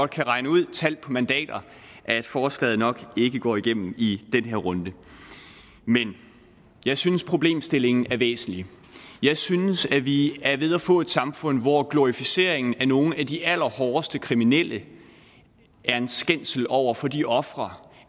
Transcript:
kan regne ud talt på mandater at forslaget nok ikke går igennem i den her runde men jeg synes problemstillingen er væsentlig jeg synes at vi er ved at få et samfund hvor glorificeringen af nogle af de allerhårdeste kriminelle er en skændsel over for de ofre